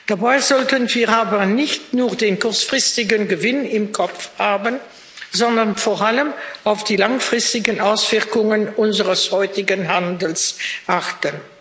Dabei sollten wir aber nicht nur den kurzfristigen Gewinn im Kopf haben, sondern vor allem auf die langfristigen Auswirkungen unseres heutigen Handels achten.